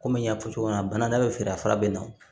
Komi n y'a fɔ cogo min na bana bɛ fɛ a fara bɛ na